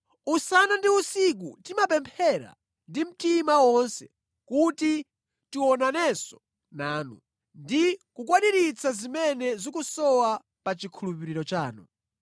Usana ndi usiku timapemphera ndi mtima wonse kuti tionanenso nanu, ndi kukwaniritsa zimene zikusowa pa chikhulupiriro chanu.